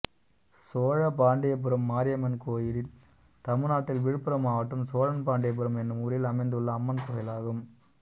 சோழபாண்டியபுரம் மாரியம்மன் கோயில் தமிழ்நாட்டில் விழுப்புரம் மாவட்டம் சோழபாண்டியபுரம் என்னும் ஊரில் அமைந்துள்ள அம்மன் கோயிலாகும்